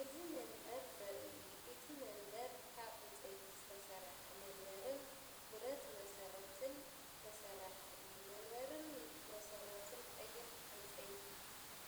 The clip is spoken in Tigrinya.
እዚ መንበር ዘርኢ እዩ። እቲ መንበር ካብ ዕንጨይቲ ዝተሰርሐ መንበርን ብረት መሰረትን ዝተሰርሐ እዩ። መንበርን መሰረቱን ቀይሕ ዕንጨይቲ